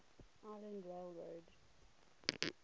island rail road